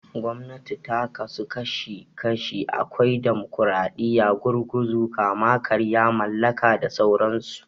Gwamnati ta ka su kashi kashi, akwai Damokaraɗiya, Gurguzu, Kama-karya, Mallaka da sauran su.